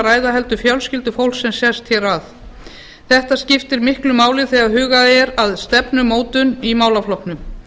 ræða heldur fjölskyldufólk sem sest hér að þetta skiptir miklu máli þegar hugað er að stefnumótun í málaflokknum